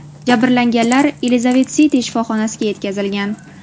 Jabrlanganlar Elizabet-Siti shifoxonasiga yetkazilgan.